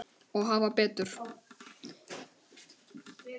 Og hafa betur.